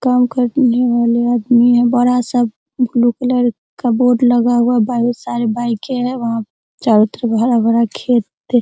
काम करने वाले आदमी है बड़ा सा ब्लू कलर का बोर्ड लगा हुआ है बहुत सारे बाइके है वहां चारो तरफ हरा-भरा खेत --